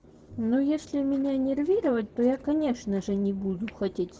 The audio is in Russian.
ну если меня нервировать то я конечно же не буду хотеть